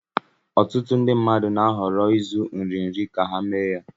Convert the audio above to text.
Ọtụtụ ndị mmadụ na-ahọrọ ịzụ nri nri ka ha mee ha.